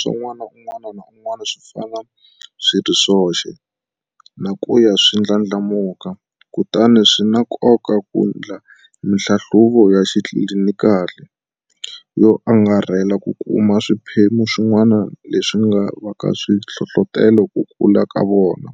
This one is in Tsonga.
Swa n'wana un'wana na un'wana swi fana swi ri swoxe na ku ya swi ndlandlamuka, kutani swi na nkoka ku endla mihlahluvo ya xitlilinikali yo angarhela ku kuma swiphemu swin'wana leswi nga vaka swi hlohlotela ku kula ka vona,